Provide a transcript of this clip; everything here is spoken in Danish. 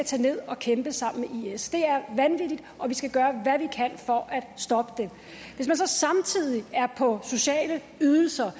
tage ned og kæmpe sammen med is det er vanvittigt og vi skal gøre at stoppe det hvis man så samtidig får sociale ydelser